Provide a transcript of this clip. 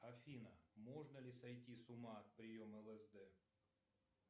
афина можно ли сойти с ума от приема лсд